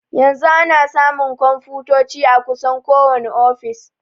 Yanzu ana samun konfutoci a kusan kowani ofis.